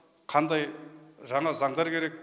қандай жаңа заңдар керек